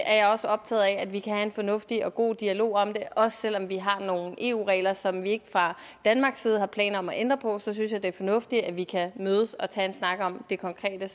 er jeg også optaget af at vi kan have en fornuftig og god dialog om det også selv om vi har nogle eu regler som vi ikke fra danmarks side har planer om at ændre på synes jeg det er fornuftigt at vi kan mødes og tage en snak om det konkrete